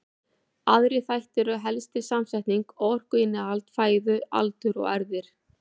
Aðrir þættir eru helstir samsetning og orkuinnihald fæðu, aldur og erfðir.